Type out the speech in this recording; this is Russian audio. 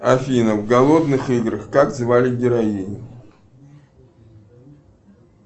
афина в голодных играх как звали героиню